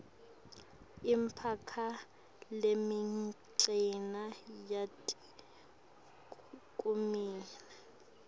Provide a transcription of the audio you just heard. imikhakha lemincane yetekulima